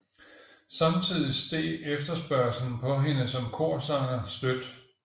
Samtidig steg efterspørgslen på hende som korsanger støt